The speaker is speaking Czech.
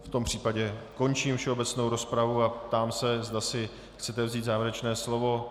V tom případě končím všeobecnou rozpravu a ptám se, zda si chcete vzít závěrečné slovo.